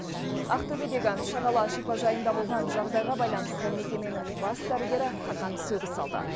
ақтөбедегі шағала шипажайында болған жағдайға байланысты мекеменің бас дәрігері қатаң сөгіс алды